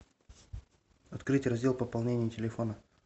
открыть раздел пополнения телефона